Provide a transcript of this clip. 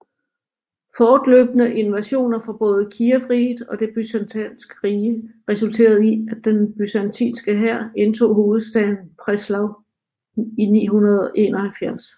Fortløbende invasioner fra både Kijevriget og det Byzantinske Rige resulterede i at den byzantinske hær indtog hovedstaden Preslav i 971